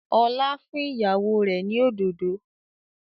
Ọlá fún ìyàwó rẹ̀ ni òdòdó